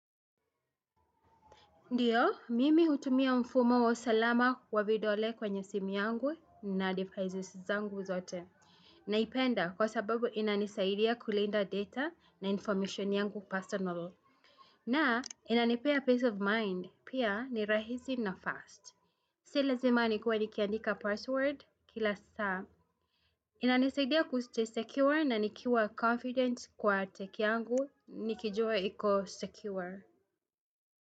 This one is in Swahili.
Ndiyo, mimi hutumia mfumo wa usalama wa vidole kwenye simu yangu na devices zangu zote. Naipenda kwa sababu inanisaidia kulinda data na information yangu personal. Na inanipea peace of mind, pia ni rahisi na fast. Si lazima nikuwe nikiandika password kila saa. Inanisaidia kustay secure na nikuwa confident kwa tech yangu nikijua iko secure.